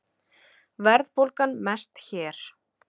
Verðbólgan mest hér